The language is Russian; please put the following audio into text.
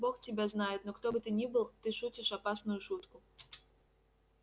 бог тебя знает но кто бы ты ни был ты шутишь опасную шутку